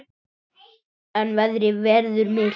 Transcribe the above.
En veðrið verður milt.